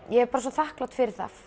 ég er svo þakklát fyrir það